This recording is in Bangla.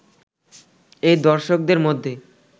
এই দর্শকদের মধ্যে